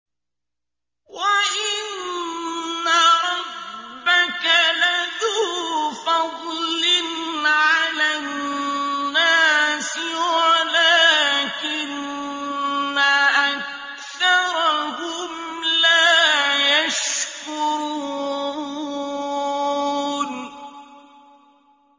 وَإِنَّ رَبَّكَ لَذُو فَضْلٍ عَلَى النَّاسِ وَلَٰكِنَّ أَكْثَرَهُمْ لَا يَشْكُرُونَ